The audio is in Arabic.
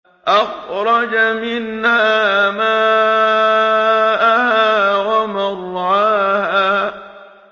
أَخْرَجَ مِنْهَا مَاءَهَا وَمَرْعَاهَا